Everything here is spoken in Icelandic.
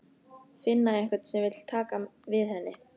Finna einhvern sem vill taka við henni.